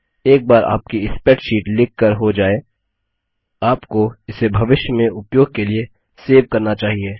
एक बार आपकी स्प्रैडशीट लिख कर हो जाय आपको इसे भविष्य में उपयोग के लिए सेव करना चाहिए